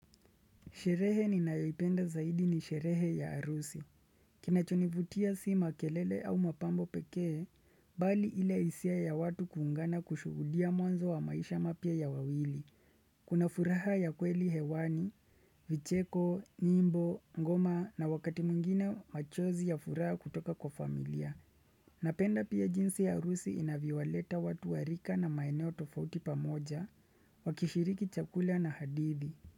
Sherehe ninayoipenda zaidi ni sherehe ya harusi. Kinachonivutia si makelele au mapambo pekee, bali ile isia ya watu kuungana kushuhudia mwanzo wa maisha mapya ya wawili. Kuna furaha ya kweli hewani, vicheko, nyimbo, ngoma na wakati mwingine machozi ya furaha kutoka kwa familia. Napenda pia jinsi ya arusi inavyowaleta watu wa rika na maeneo tofauti pamoja, wakishiriki chakula na hadithi.